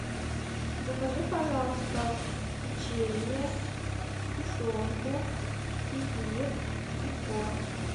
закажи пожалуйста печенье сгущенку кефир и творог